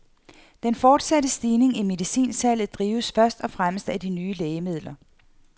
Den fortsatte stigning i medicinsalget drives først og fremmest af de nye lægemidler.